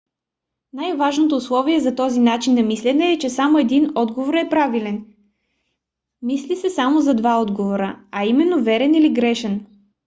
най-важното условие за този начин на мислене е че само един отговор е правилен. мисли се само за два отговора а именно верен или грешен